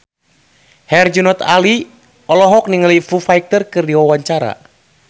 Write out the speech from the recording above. Herjunot Ali olohok ningali Foo Fighter keur diwawancara